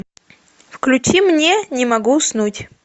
включи мне не могу уснуть